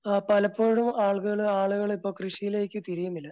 പലപ്പോഴും ആളുകള് ആളുകളിപ്പോ കൃഷിയിലേക്ക് തിരിയുന്നില്ല